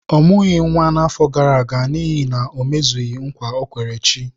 Ọ mụghị nwa na-afọ gara aga n’ihi na o mezughị nkwa ọ kwere chi.